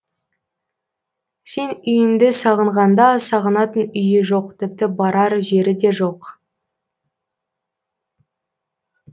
сен үйіңді сағынғанда сағынатын үйі жоқ тіпті барар жері де жоқ